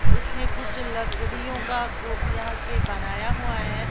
उसने कुछ लकड़ीयो का कूब यहां से बनाया हुआ है।